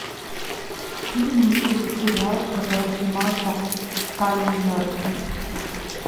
фильм или сериал в котором снимался киллиан мерфи